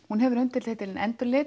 hún hefur undirtitilinn